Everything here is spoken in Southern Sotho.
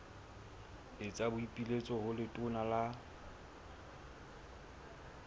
etsa boipiletso ho letona la